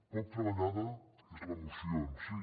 poc treballada és la moció en si